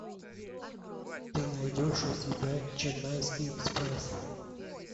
ты найдешь у себя ченнайский экспресс